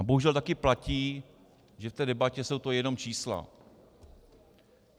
A bohužel taky platí, že v té debatě jsou to jenom čísla.